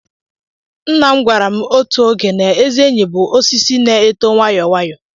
Nna m gwara m otu oge na ezi enyi bụ osisi na-eto nwayoo nwayoo